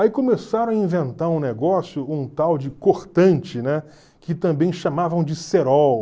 Aí começaram a inventar um negócio, um tal de cortante, né, que também chamavam de cerol.